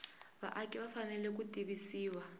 vaaki va fanele ku tivisiwa